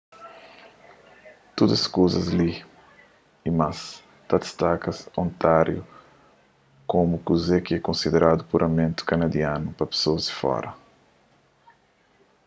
tudu es kuzas li y más ta distaka ontáriu komu kuze ki é konsideradu puramenti kanadianu pa pesoas di fora